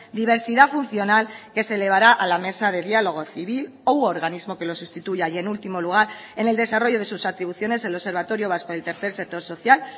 diversidad funcional que se elevará a la mesa de diálogo civil u organismo que lo sustituya y en último lugar en el desarrollo de sus atribuciones el observatorio vasco del tercer sector social